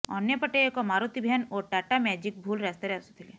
ଅନ୍ୟପଟେ ଏକ ମାରୁତି ଭ୍ୟାନ ଓ ଟାଟା ମ୍ୟାଜିକ୍ ଭୁଲ ରାସ୍ତାରେ ଆସୁଥିଲେ